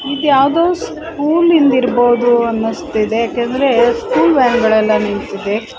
ಇದ ಯಾವುದೊ ಸ್ಕೂಲ್ ಇಂದ್ ಇರಬಹುದು ಅನಸ್ತಿದೆ ಯಾಕಂದ್ರೆ ಸ್ಕೂಲ್ ವ್ಯಾನ್ ಗಳಲ್ ನಿಂತಿದೆ.